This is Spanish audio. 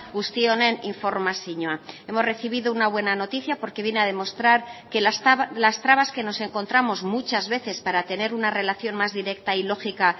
guzti honen informazioa hemos recibido una buena noticia porque viene a demostrar que las trabas que nos encontramos muchas veces para tener una relación más directa y lógica